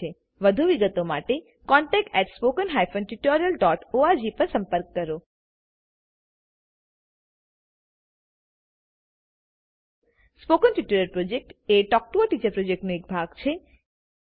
વધુ વિગત માટેcontact at spoken hyphen tutorial dot org પર સંપર્ક કરો સ્પોકન ટ્યુટોરીયલ પ્રોજેક્ટ એ ટોક ટુ અ ટીચર પ્રોજેક્ટનો એક ભાગ છે